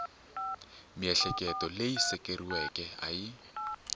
miehleketo leyi seketeriweke a yi